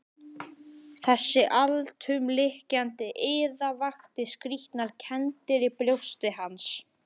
Þessi alltumlykjandi iða vakti skrýtnar kenndir í brjósti hans.